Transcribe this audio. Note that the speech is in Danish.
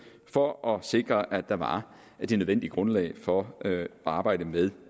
for at sikre at der var det nødvendige grundlag for at arbejde med